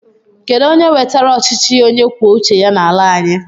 Kedu onye wetara ọchịchị onye kwuo uche ya n'ala anyị?